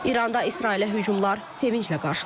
İranda İsrailə hücumlar sevinclə qarşılanıb.